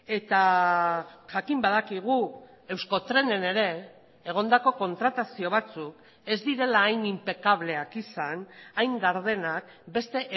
eta jakin badakigu euskotrenen ere egondako kontratazio batzuk ez direla hain inpekableak izan hain gardenak beste